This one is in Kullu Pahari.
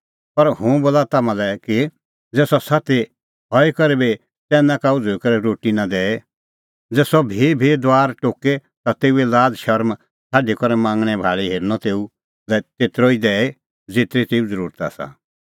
पर हुंह बोला तम्हां लै कि ज़ै सह साथी हई करै बी च़ैन्ना का उझ़ुई करै रोटी नां दैए ज़ै सह भीभी दुआर टोके ता तेऊए लाज़ शरम छ़ाडी करै मांगणैं भाल़ी हेरनअ तेऊ लै तेतरअ दैई ज़ेतरी तेऊ ज़रुरत आसा